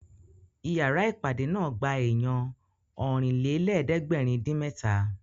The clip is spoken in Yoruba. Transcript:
Ìyára ìpàdé náà gba èèyàn Ọ̀rìnlélẹ̀ẹ́dẹ́gbèrin-dín-mẹ́ta